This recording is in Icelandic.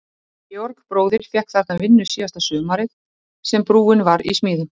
Dóra á Felli var ekki brotin en bólgin og snúin á hægra fæti.